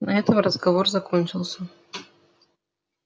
на этом разговор закончился